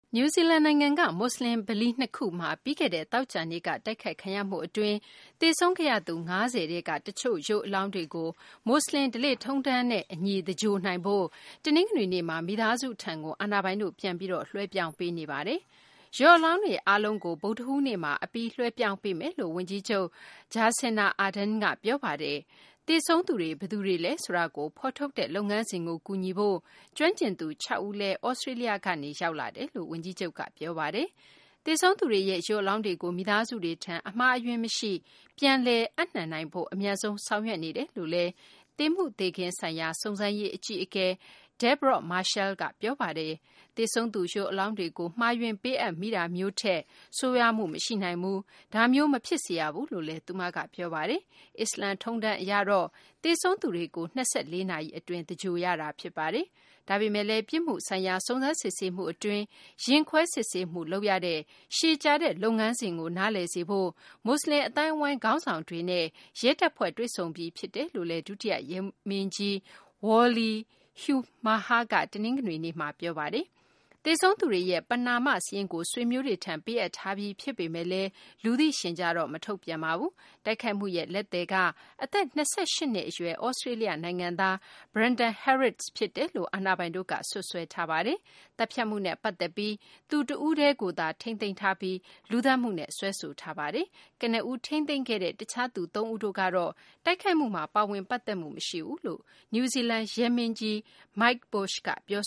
နယူးဇီလန် နိုင်ငံက မူဆလင် ဗလီ ၂ ခုမှာ ပြီးခဲ့တဲ့ သောကြာနေ့က တိုက်ခိုက်ခံရမှု အတွင်း သေဆုံးခဲ့ရသူ ၅ဝ ထဲက တချို့ ရုပ်အလောင်းတွေကို မူဆလင် ဓလေ့ထုံးတမ်းနဲ့ အညီ သင်္ဂြိုဟ်နိုင်ဖို့ တနင်္ဂနွေနေ့မှာ မိသားစုထံ အာဏာပိုင်တို့ ပြန်ပြီး လွှဲပြောင်း ပေးနေပါတယ်။ ရုပ်အလောင်းတွေ အားလုံးကို ဗုဒ္ဓဟူးနေ့မှာ အပြီး လွှဲပြောင်းပေးမယ်လို့ ဝန်ကြီးချုပ် Jacinda Ardern က ပြောပါတယ်။ သေဆုံးသူတွေ ဘယ်သူတွေလဲဆိုတာကို ဖော်ထုတ်တဲ့ လုပ်ငန်းစဉ်ကို ကူညီဖို့ ကျွမ်းကျင်သူ ၆ ဦး လည်း သြစတေးလျကနေ ရောက်လာကြောင်း ဝန်ကြီးချုပ်က ပြောပါတယ်။ သေဆုံးသူတွေရဲ့ ရုပ် အလောင်းတွေကို မိသားစုတွေထံ အမှားအယွင်းမရှိ ပြန်လည် ပေးအပ်နိုင်ဖို့ အမြန်ဆုံး ဆောင်ရွက် နေတယ်လို့လည်း သေမှုသေခင်းဆိုင်ရာ စုံစမ်းရေး အကြီးအကဲ Deborah Marshall က ပြောပါ တယ်။ သေဆုံးသူ ရုပ်အလောင်းတွေကို မှားယွင်း ပေးအပ်မိတာမျိုးထက် ဆိုးရွားမှု မရှိနိုင်ဘူး၊ ဒါမျိုး မဖြစ်စေရဘူးလို့လည်း သူမက ပြောပါတယ်။ အစ္စလာမ် ထုံးတမ်းအရတော့ သေဆုံးသူတွေကို ၂၄ နာရီ အတွင်း သင်္ဂြိုဟ်ရတာ ဖြစ်ပါတယ်။ ဒါပေမယ့်လည်း ပြစ်မှုဆိုင်ရာ စုံစမ်းစစ်ဆေးမှု အတွင်း ရင်ခွဲစစ်ဆေးမှု လုပ်ရတဲ့ ရှည်ကြာတဲ့ လုပ်ငန်းစဉ်ကို နားလည်စေဖို့ မူဆလင် အသိုင်းအဝိုင်းက ခေါင်းဆောင်တွေနဲ့ ရဲတပ်ဖွဲ့ တွေ့ဆုံပြီး ဖြစ်တယ်လို့လည်း ဒုတိယ ရဲမင်းကြီး Wally Haumaha က တနင်္ဂနွေနေ့မှာ ပြောပါတယ်။ သေဆုံးသူတွေရဲ့ ပဏာမ စာရင်းကို ဆွေမျိုးတွေထံ ပေးအပ်ထားပြီး ဖြစ်ပေမယ့်လည်း လူသိရှင်ကြားတော့ မထုတ်ပြန်ပါဘူး။ တိုက်ခိုက်မှုရဲ့ လက်သည်က အသက် ၂၈ နှစ် အရွယ် သြစတေးလျ နိုင်ငံသား Brenton Harris ဖြစ်တယ်လို့ အာဏာပိုင်တို့က စွပ်စွဲထားပါတယ်။ သတ်ဖြတ်မှုနဲ့ ပတ်သက်ပြီး သူတဦးတည်းကိုသာ ထိန်းသိမ်းထားပြီး လူသတ်မှုနဲ့ စွဲဆိုထားတာပါ။ ကနဦး ထိန်းသိမ်းခဲ့တဲ့ တခြားသူ သုံးဦးတို့ကတော့ တိုက်ခိုက်မှုမှာ ပါဝင် ပတ်သက်မှု မရှိဘူးလို့ နယူးဇီလန် ရဲမင်းကြီး Mike Bush က ပြော